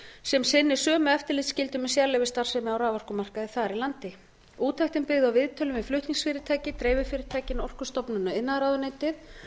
sem sinnir sömu eftirlitsskyldu með sérleyfisstarfsemi á raforkumarkaði þar í landi úttektin er byggð á viðtölum við flutningsfyrirtæki dreififyrirtæki orkustofnun og iðnaðarráðuneytið